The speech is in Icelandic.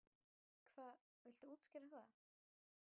Hvað, viltu útskýra það?